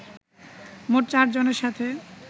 মোট চারজনের সাথে